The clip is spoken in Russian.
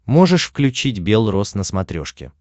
можешь включить бел роз на смотрешке